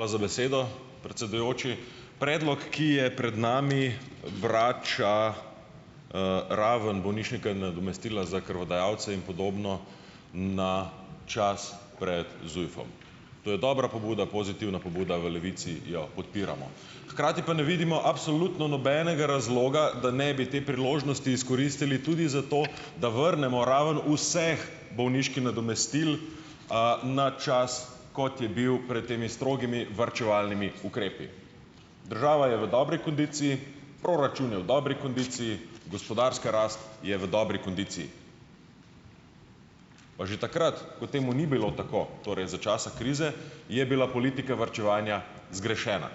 Hvala za besedo, predsedujoči. Predlog, ki je pred nami, vrača, ravno bolniška nadomestila za krvodajalce in podobno na čas pred ZUJF-om. To je dobra pobuda, pozitivna pobuda, v Levici jo podpiramo. Hkrati pa ne vidimo absolutno nobenega razloga, da ne bi te priložnosti izkoristili tudi za to, da vrnemo ravno vseh bolniških nadomestil, na čas, kot je bil prej temi strogimi varčevalnimi ukrepi. Država je v dobri kondiciji, proračun je v dobri kondiciji , gospodarska rast je v dobri kondiciji. Pa že takrat, ko temu ni bilo tako, torej za časa krize, je bila politika varčevanja zgrešena.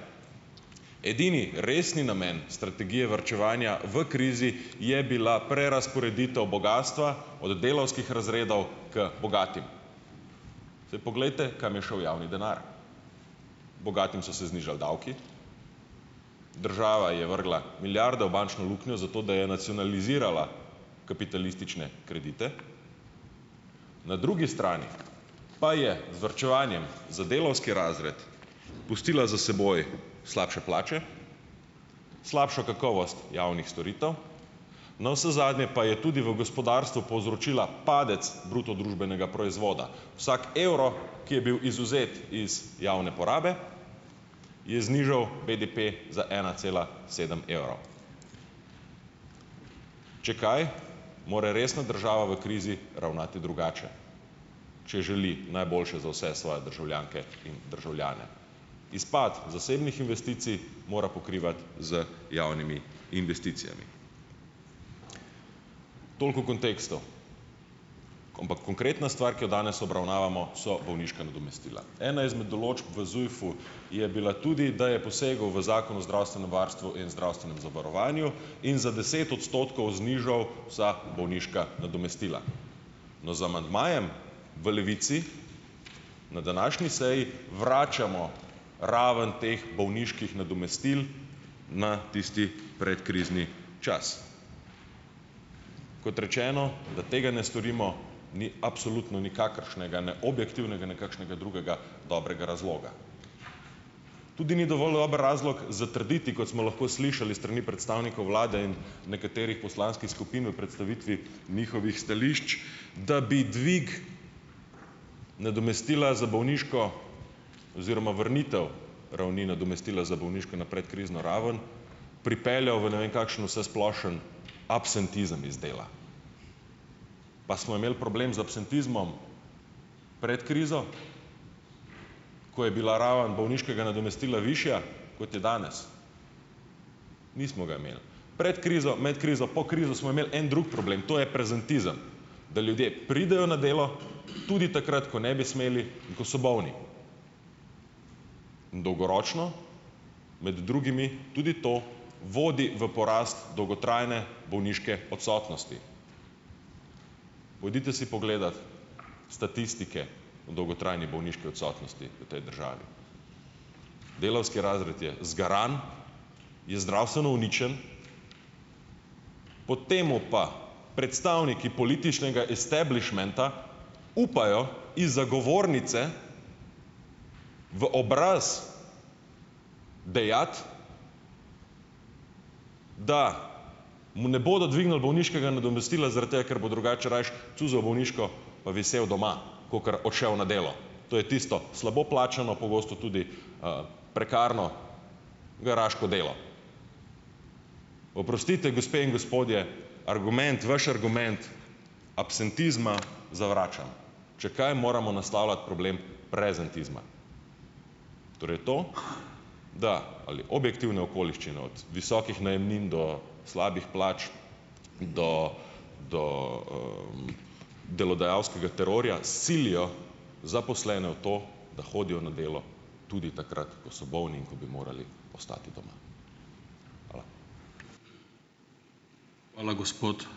Edini resni namen strategije varčevanja v krizi je bila prerazporeditev bogastva od delavskih razredov k bogatim. Saj poglejte, kam je šel javni denar. Bogatim so se znižali davki, država je vrgla milijarde v bančno luknjo, zato da je nacionalizirala kapitalistične kredite, na drugi strani pa je z varčevanjem za delavski razred pustila za seboj slabše plače, slabšo kakovost javnih storitev, navsezadnje pa je tudi v gospodarstvu povzročila padec bruto družbenega proizvoda. Vsak evro, ki je bil izvzet iz javne porabe, je znižal BDP za ena cela sedem evra. Če kaj, mora resno država v krizi ravnati drugače, če želi najboljše za vse svoje državljanke in državljane. Izpad zasebnih investicij mora pokrivati z javnimi investicijami. Toliko v kontekstu. konkretna stvar, ki jo danes obravnavamo, so bolniška nadomestila. Ena izmed določb v ZUJF-u je bila tudi, da je poseg v Zakon o zdravstvenem varstvu in zdravstvenem zavarovanju in za deset odstotkov znižal vsa bolniška nadomestila. No, z amandmajem v Levici na današnji seji vračamo ravno teh bolniških nadomestil na tisti predkrizni čas. Kot rečeno, da tega ne storimo ni absolutno nikakršnega ne objektivnega ne kakšnega drugega dobrega razloga. Tudi ni dovolj dober razlog zatrditi, kot smo lahko slišali strani predstavnikov Vlade in nekaterih poslanskih skupin v predstavitvi njihovih stališč, da bi dvig nadomestila za bolniško oziroma vrnitev ravni nadomestila za bolniško na predkrizno raven, pripeljal v ne vem kakšen vsesplošni absentizem iz dela. Pa smo imeli problem z absentizmom pred krizo, ko je bila raven bolniškega nadomestila višja, kot je danes. Nismo ga imeli. Pred krizo, med krizo, po krizi smo imeli en drug problem . To je prezentizem. Da ljudje pridejo na delo tudi takrat, ko ne bi smeli, ko so bolni. In dolgoročno, med drugim, tudi to vodi v porast dolgotrajne bolniške odsotnosti. Pojdite si pogledat statistike o dolgotrajni bolniški odsotnosti v tej državi. Delavski razred je zgaran, je zdravstveno uničen, potem pa predstavniki političnega establišmenta upajo iz govornice v obraz dejati, da mu ne bodo dvignili bolniškega nadomestila zaradi tega, ker bo drugače rajši cuzal bolniško pa visel doma, kakor odšel na delo. To je tisto slabo plačano, pogosto tudi, prekarno garaško delo. Oprostite, gospe in gospodje, argument, vaš argument absentizma zavračam. Če kaj, moramo naslavljati problem prezentizma. Torej to, da ali objektivne okoliščine od visokih najemnin do slabih plač, do, do, delodajalskega terorja silijo zaposlene v to, da hodijo na delo tudi takrat, ko so bolni in bi morali ostati doma. Hvala.